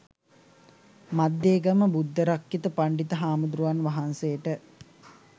මද්දේගම බුද්ධරක්ඛිත පණ්ඩිත හාමුදුරුවන් වහන්සේට